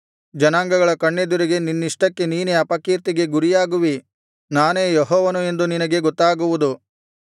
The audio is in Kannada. ಜನಾಂಗಗಳ ಕಣ್ಣೆದುರಿಗೆ ನಿನ್ನಷ್ಟಕ್ಕೆ ನೀನೇ ಅಪಕೀರ್ತಿಗೆ ಗುರಿಯಾಗುವಿ ನಾನೇ ಯೆಹೋವನು ಎಂದು ನಿನಗೆ ಗೊತ್ತಾಗುವುದು